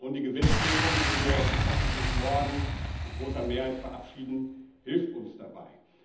Die Gesetzgebung, die wir hoffentlich morgen mit großer Mehrheit verabschieden, hilft uns dabei.